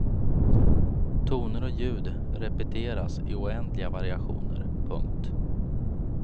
Toner och ljud repeteras i oändliga variationer. punkt